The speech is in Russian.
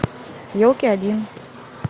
елки один